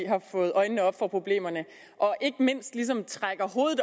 har fået øjnene op for problemerne og ikke mindst ligesom trækker hovedet